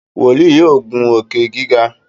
wòlíì yóò ngun Òkè-gíga.